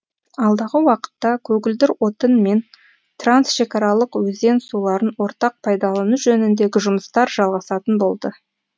алдағы уақытта көгілдір отын мен трансшекараларық өзен суларын ортақ пайдалану жөніндегі жұмыстар жалғасатын болды